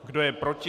Kdo je proti?